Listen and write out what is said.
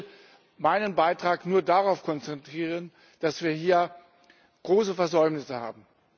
Ich will meinen Beitrag nur darauf konzentrieren, dass wir hier große Versäumnisse haben.